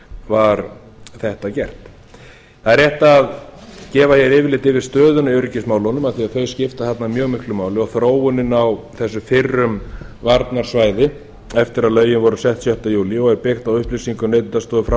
var þetta gert það er rétt að gefa yfirlit yfir stöðuna öryggismálunum af því að þau skipta þarna mjög miklu máli og þróunin á þessu fyrrum varnarsvæði eftir að lögin voru sett sjötta júlí og er byggt á upplýsingum neytendastofu frá